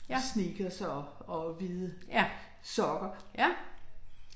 Ja. Ja. Ja